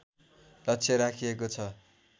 लक्ष्य राखिएको छ